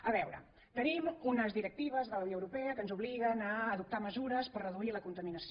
a veure tenim unes directives de la unió europea que ens obliguen a adoptar mesures per reduir la contaminació